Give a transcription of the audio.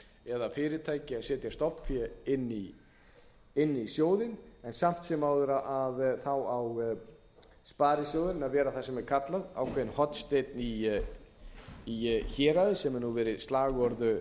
eða fyrirtæki að setja stofnfé inn í sjóðinn en samt sem áður á sparisjóðurinn að vera það sem er kallað ákveðinn hornsteinn í héraði sem hefur verið slagorð